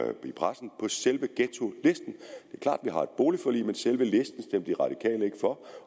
et boligforlig men selve listen stemte de radikale ikke for